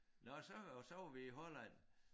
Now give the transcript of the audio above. Nåh så og så var vi i Holland